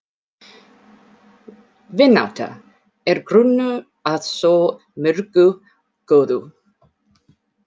VINÁTTA- er grunnur að svo mörgu góðu.